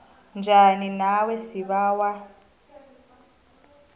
njani nawe sibawa